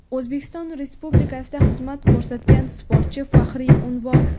"O‘zbekiston Respublikasida xizmat ko‘rsatgan sportchi" faxriy unvoni.